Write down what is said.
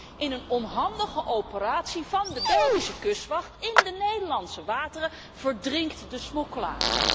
Nee, in een onhandige operatie van de Belgische kustwacht in de Nederlandse wateren verdrinkt de smokkelaar.